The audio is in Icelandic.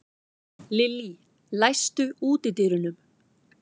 Lillý, læstu útidyrunum.